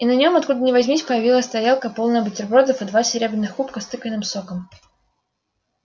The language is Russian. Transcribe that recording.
и на нём откуда ни возьмись появилась тарелка полная бутербродов и два серебряных кубка с тыквенным соком